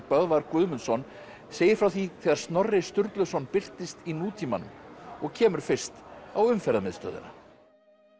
Böðvar Guðmundsson segir frá því þegar Snorri Sturluson birtist í nútímanum og kemur fyrst á Umferðarmiðstöðina